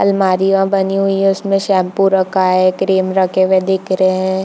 आलमारियाँ बनी हुई है उसमे शैम्पू रखा है क्रीम रखे हुए दिख रहै है।